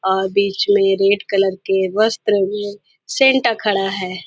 और बीच में रेड कलर के वस्त्र में सेंटा खड़ा है।